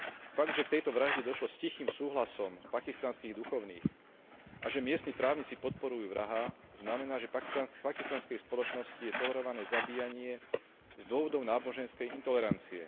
Fakt, že k tejto vražde došlo s tichým súhlasom pakistanských duchovných a že miestni právnici podporujú vraha znamená, že v pakistanskej spoločnosti je tolerované zabíjanie z dôvodov náboženskej intolerancie.